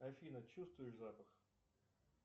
афина чувствуешь запах